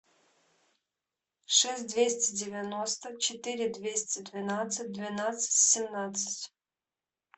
шесть двести девяносто четыре двести двенадцать двенадцать семнадцать